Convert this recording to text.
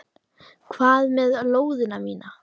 Hvað með lóðina mína!